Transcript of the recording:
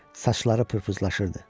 Saçları pırpızlaşırdı.